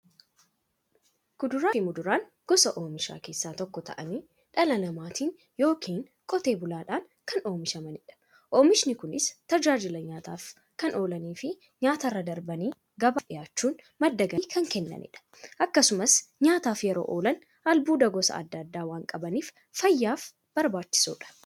Kuduraafi muduraan gosa oomishaa keessaa tokko ta'anii, dhala namaatin yookiin Qotee bulaadhan kan oomishamaniidha. Oomishni Kunis, tajaajila nyaataf kan oolaniifi nyaatarra darbanii gabaaf dhiyaachuun madda galii kan kennaniidha. Akkasumas nyaataf yeroo oolan, albuuda gosa adda addaa waan qabaniif, fayyaaf barbaachisoodha.